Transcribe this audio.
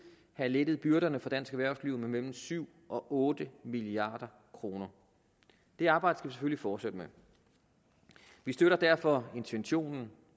have lettet byrderne for dansk erhvervsliv med mellem syv og otte milliard kroner det arbejde skal vi selvfølgelig fortsætte med vi støtter derfor intentionen